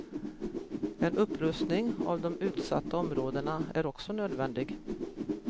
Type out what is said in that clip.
En upprustning av de utsatta områdena är också nödvändig.